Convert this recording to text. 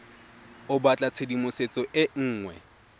o batla tshedimosetso e nngwe